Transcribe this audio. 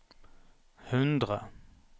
hundre